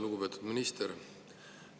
Lugupeetud minister!